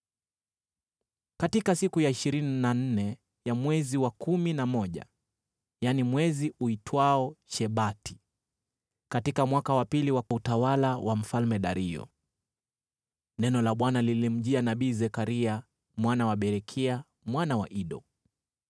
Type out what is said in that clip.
Katika siku ya ishirini na nne ya mwezi wa kumi na moja, yaani mwezi uitwao Shebati, katika mwaka wa pili wa utawala wa Mfalme Dario, neno la Bwana lilimjia nabii Zekaria mwana wa Berekia mwana wa Ido.